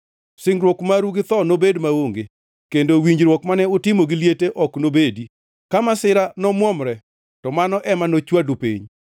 Singruok maru gi tho nobed maonge; kendo winjruok mane utimo gi liete ok nobedi. Ka masira nomwomre, to mano ema nochwadu piny.